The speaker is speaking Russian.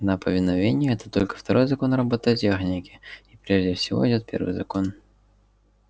но повиновение это только второй закон роботехники и прежде всего идёт первый закон